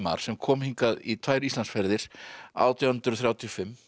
sem kom hingað í tvær Íslandsferðir átján hundruð þrjátíu og fimm